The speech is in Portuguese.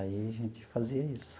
Aí, a gente fazia isso.